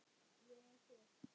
Ég er svört.